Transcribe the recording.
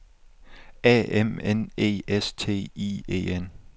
A M N E S T I E N